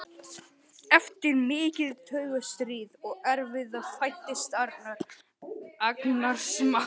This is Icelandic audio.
Eftir mikið taugastríð og erfiði fæddist Arnar, agnarsmár.